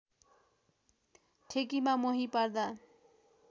ठेकीमा मोही पार्दा